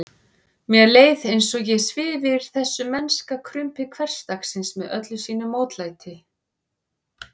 Mér leið eins og ég svifi yfir þessu mennska krumpi hversdagsins með öllu sínu mótlæti.